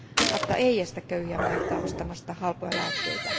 ACTA ei estä köyhiä maita ostamasta halpoja lääkkeitä.